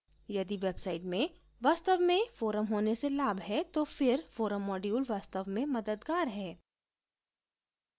यदि website में वास्तव में forum होने से लाभ है तो फिर forum module वास्तव में मददगार है